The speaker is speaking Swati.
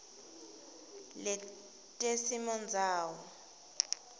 letesimondzawo